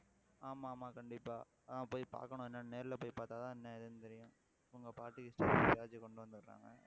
ஆமா ஆமா கண்டிப்பா ஆஹ் போய் பார்க்கணும் என்னன்னு நேர்ல போய் பார்த்தாதான் என்ன ஏதுன்னு தெரியும்அவங்க பாட்டுக்கு இஷ்டத்துக்கு ஏதாச்சும் கொண்டு வந்திடுறானுங்க.